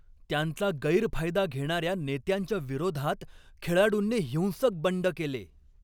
त्यांचा गैरफायदा घेणाऱ्या नेत्यांच्या विरोधात खेळाडूंनी हिंसक बंड केले.